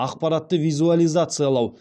ақпаратты визуализациялау